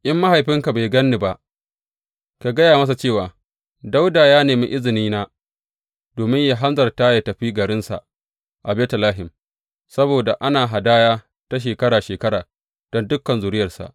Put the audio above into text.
In mahaifinka bai gan ni ba, ka gaya masa cewa, Dawuda ya nemi izinina domin yă hanzarta yă tafi garinsa a Betlehem saboda ana hadaya ta shekara shekara don dukan zuriyarsa.’